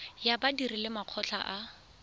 ya badiri le makgotla a